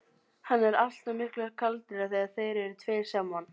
Hann er alltaf miklu kaldari þegar þeir eru tveir saman.